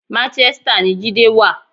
Manchester ni Jídé wà.